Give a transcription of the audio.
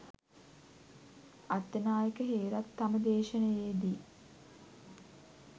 අත්තනායක හේරත් තම දේශණයේ දී